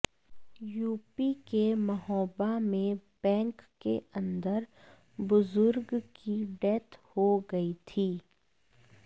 UP के महोबा में bank के अंदर बुजुर्ग की डेथ हो गई थी